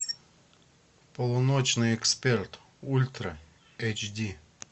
полуночный эксперт ультра эйч ди